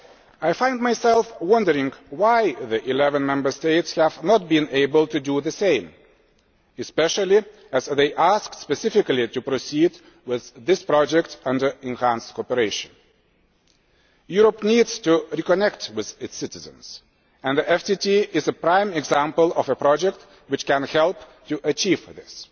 I find myself wondering why the eleven Member States have not been able to do the same, especially as they had asked specifically to proceed with this project under enhanced cooperation. Europe needs to reconnect with its citizens, and the FTT is a prime example of a project which can help to achieve this.